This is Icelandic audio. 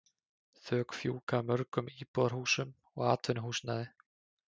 Þök fjúka af mörgum íbúðarhúsum og atvinnuhúsnæði.